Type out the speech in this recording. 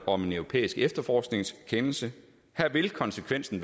om en europæisk efterforskningskendelse her vil konsekvensen